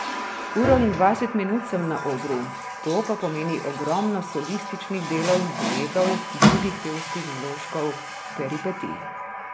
Uro in dvajset minut sem na odru, to pa pomeni ogromno solističnih delov, duetov, drugih pevskih vložkov, peripetij.